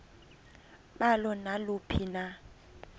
balo naluphi na